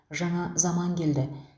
жаңа заман келді